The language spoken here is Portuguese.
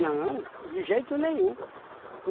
de jeito nenhum.